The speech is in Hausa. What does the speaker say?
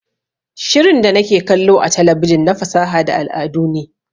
Shirin da nake kallo a talabijin na fasaha da al'adu ne